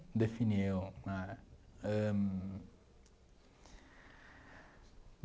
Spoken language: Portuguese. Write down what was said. Definiu né ãh